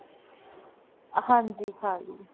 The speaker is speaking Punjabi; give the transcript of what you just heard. ਹਾਂਜੀ, ਖਾਲੀ।